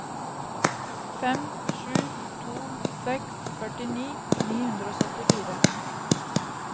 fem sju to seks førtini ni hundre og syttifire